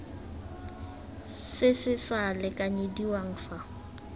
se se sa lekanyediwang fa